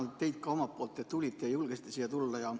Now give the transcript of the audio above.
Tänan teid ka omalt poolt, et te julgesite siia tulla.